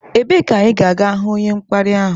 Ebee ka anyị ga-ahụ onye mkparị ahụ?